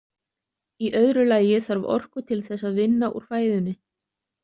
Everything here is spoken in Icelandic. Í öðru lagi þarf orku til þess að vinna úr fæðunni.